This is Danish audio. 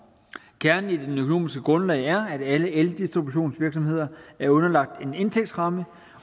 kernen i det økonomiske grundlag er at alle eldistributionsvirksomheder er underlagt en indtægtsramme